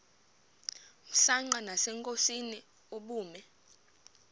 msanqa nasenkosini ubume